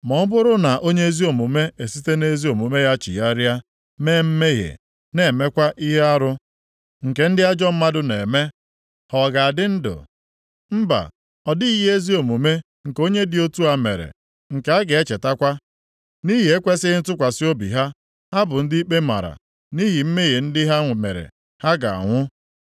“Ma ọ bụrụ na onye ezi omume esite nʼezi omume ya chigharịa, mee mmehie na-emekwa ihe arụ nke ndị ajọ mmadụ na-eme, ha ọ ga-adị ndụ? Mba! Ọ dịghị ihe ezi omume nke onye dị otu a mere nke a ga-echetakwa. Nʼihi ekwesighị ntụkwasị obi ha, ha bụ ndị ikpe mara, nʼihi mmehie ndị ha mere, ha ga-anwụ.